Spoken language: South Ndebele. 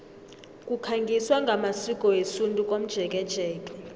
kukhangiswa ngamasiko wesintu komjekejeke